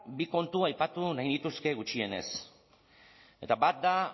bi kontu aipatu nahi nituzke gutxienez eta bat da